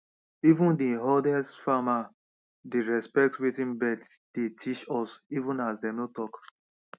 even dey oldest farmedey respect watin birds dey teach us even as dem no talk